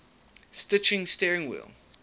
stitching steering wheel